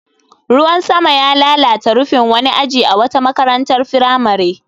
Ruwan sama ya lalata rufin wani aji a wata makarantar firamare.